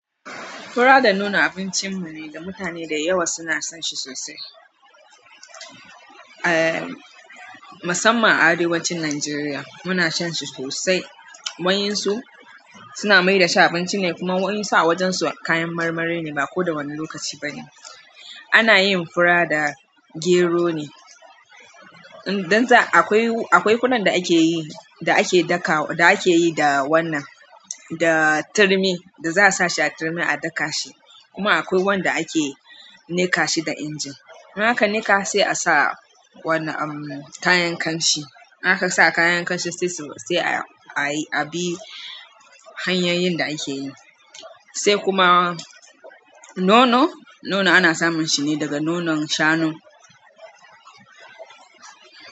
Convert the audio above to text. Fura da nono abincin mu ne da mutane da yawa suna son shi sosai. Aaa masamman a arewacin Najeriya muna shan shi sosai. Wa'ensu su suna mai da shi abinci ne kuma wa'ensu a wajen su kayan marmari ne ba ko da wani lokaci ba ne. Anayin fura da gero ne, akwai furan da keyi da wannan da turmi za asa a daka, kuma akwai wanada ake niƙashi a inji idan aka niƙa sai a sa wannan umm kayan kashi. Haka sa kayan ƙamshi sai sai a yi a bi hanyoyin da ake yi. Sai kuma nono, nono ana samun shi ne daga nonon shanu.